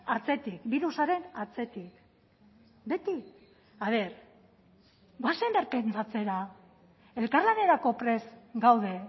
atzetik birusaren atzetik beti a ver goazen berpentsatzera elkarlanerako prest gaude